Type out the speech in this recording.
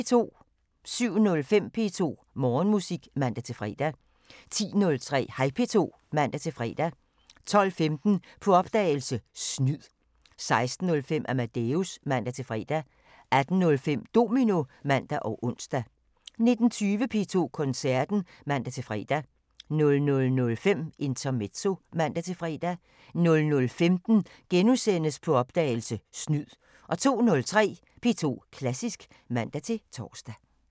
07:05: P2 Morgenmusik (man-fre) 10:03: Hej P2 (man-fre) 12:15: På opdagelse – Snyd 16:05: Amadeus (man-fre) 18:05: Domino (man og ons) 19:20: P2 Koncerten (man-fre) 00:05: Intermezzo (man-fre) 00:15: På opdagelse – Snyd * 02:03: P2 Klassisk (man-tor)